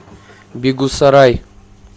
бегусарай